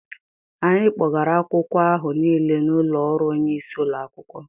Anyị kpògara akwụkwọ áhù Nile n'ụlọ ọrụ onye isi ụlọ akwụkwọ